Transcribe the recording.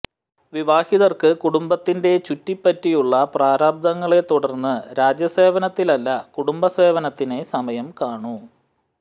വിവാഹിതർക്ക് കുടുംബത്തിന്റെ ചുറ്റിപ്പറ്റിയുള്ള പ്രാരാബ്ധങ്ങളെ തുടർന്ന് രാജ്യ സേവനത്തിനല്ല കുടുംബ സേവനത്തിനേ സമയം കാണു